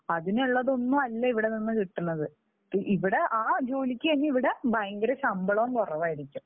അതിനുള്ളതൊന്നും അല്ല ഇവിടെനിന്ന് കിട്ടുന്നത്. ഇവിടെ ആ ഇവിടെ ആ ജോലിക്ക് തന്നെ ഇവിടെ ഭയങ്കര ശമ്പളവും കുറവായിരിക്കും.